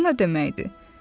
O nə deməkdir?